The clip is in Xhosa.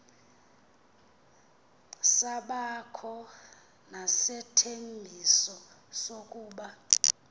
sabakho nesithembiso sokuba